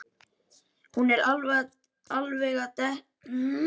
Hún er alveg að detta í sundur, barnið.